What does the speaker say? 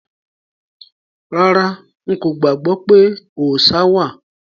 Rárá,n kò gbàgbọ́ pé òòṣa wà.